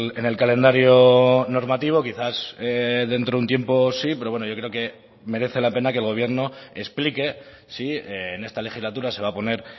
en el calendario normativo quizás dentro de un tiempo sí pero bueno yo creo que merece la pena que el gobierno explique si en esta legislatura se va a poner